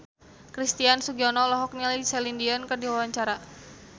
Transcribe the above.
Christian Sugiono olohok ningali Celine Dion keur diwawancara